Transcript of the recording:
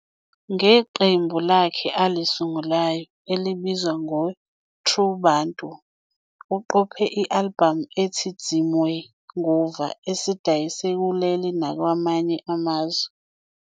Ngeqembu lakhe alisungulayo, elibizwa ngeTru Bantu, uqophe i-albhamu ethi Dzimwe Nguva, esidayise kuleli nakwamanye amazwe.